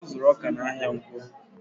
Ọ zuru ọkà n'ahia ǹkwọ